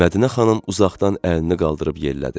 Mədinə xanım uzaqdan əlini qaldırıb yellədi.